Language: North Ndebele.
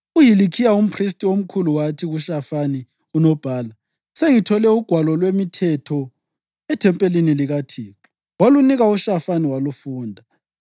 UHilikhiya umphristi omkhulu wathi kuShafani unobhala, “Sengithole uGwalo lwemiThetho ethempelini likaThixo.” Walunika uShafani walufunda.